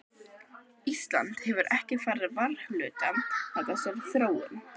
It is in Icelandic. Ísland hefur ekki farið varhluta af þessari þróun?